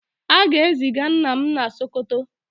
a ga-eziga nna m na Sokoto